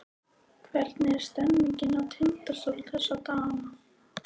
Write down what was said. Hvernig er stemningin hjá Tindastól þessa dagana?